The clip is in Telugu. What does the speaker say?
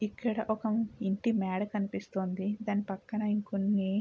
ఇక్కడ ఒక ఇంటి మేడ కనిపిస్తుంది దాని పక్కన ఇంకొన్ని--